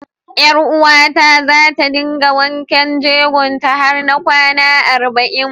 Ƴaruwata za ta dinga wanken jegon ta har na kwana arba'in.